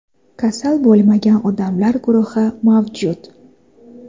kasal bo‘lmagan odamlar guruhi mavjud.